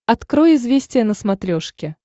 открой известия на смотрешке